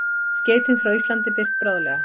Skeytin frá Íslandi birt bráðlega